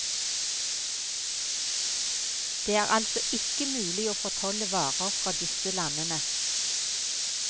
Det er altså ikke mulig å fortolle varer fra disse landene.